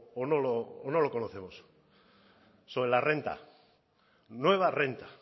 o no lo conocemos sobre la renta nueva renta